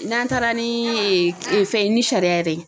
N'an taara ni fɛn ni sariya yɛrɛ ye